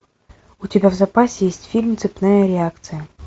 у тебя в запасе есть фильм цепная реакция